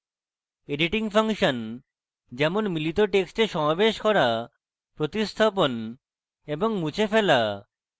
editing function যেমন মিলিত টেক্সটে সমাবেশ করা প্রতিস্থাপণ এবং মুছে ফেলা